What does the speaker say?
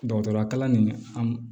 Dɔgɔtɔrɔya kalan nin an